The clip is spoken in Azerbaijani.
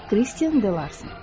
Kristen De Larson.